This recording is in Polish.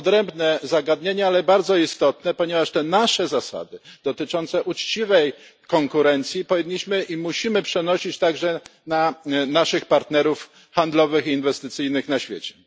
Jest to odrębne zagadnienie, ale bardzo istotne, ponieważ nasze zasady dotyczące uczciwej konkurencji powinniśmy i musimy przenosić także na naszych partnerów handlowych i inwestycyjnych na świecie.